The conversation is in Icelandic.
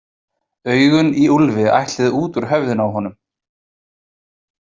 Augun í Úlfi ætluðu út úr höfðinu á honum.